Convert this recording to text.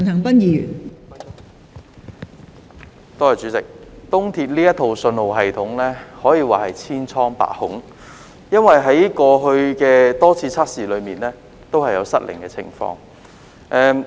東鐵綫這套信號系統可說是千瘡百孔，因為在過去多次測試中也有失靈的情況。